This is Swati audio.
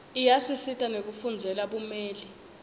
iyasisita nekufundzela bumeli